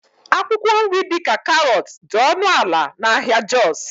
akwụkwọ nri dị ka karọt dị ọnụ ala na ahịa jos